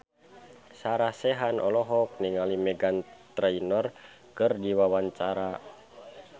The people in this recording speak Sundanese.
Sarah Sechan olohok ningali Meghan Trainor keur diwawancara